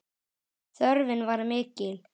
Þörfin var mikil.